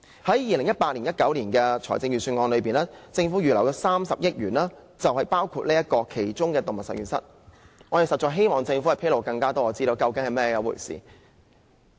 在 2018-2019 年度的預算案裏，政府預留的30億元就包括了動物實驗室。我們實在希望政府可以披露更多資料，這究竟是甚麼一回事？